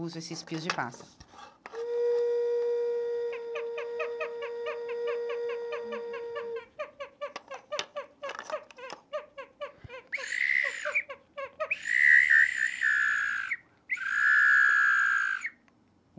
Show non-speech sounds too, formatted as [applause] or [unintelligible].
uso esses pios de passa. [unintelligible]